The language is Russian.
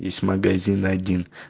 есть магазин один